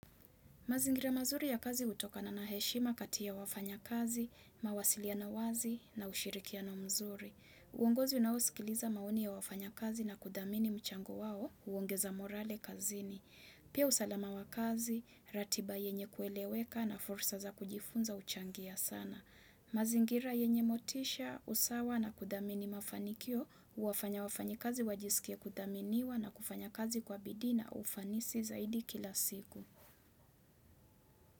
Mazingira mazuri ya kazi hutokana na heshima kati ya wafanya kazi, mawasiliano wazi na ushirikiano mzuri. Uongozi unaosikiliza maoni ya wafanyakazi na kudhamini mchango wao, huongeza morale kazini. Pia usalama wa kazi, ratiba yenye kueleweka na fursa za kujifunza huchangia sana. Mazingira yenye motisha, usawa na kudhamini mafanikio, huwafanya wafanyikazi wajisikie kudhaminiwa na kufanya kazi kwa bidii na ufanisi zaidi kila siku.